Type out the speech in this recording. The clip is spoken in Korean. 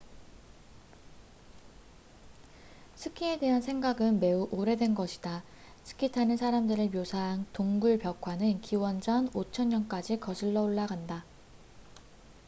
스키에 대한 생각은 매우 오래된 것이다 스키 타는 사람들을 묘사한 동굴 벽화는 기원전 5000년까지 거슬러 올라간다